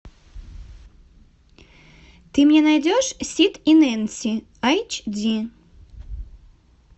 ты мне найдешь сид и нэнси эйч ди